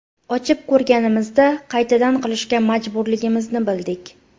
Ochib ko‘rganimizda, qaytadan qilishga majburligimizni bildik.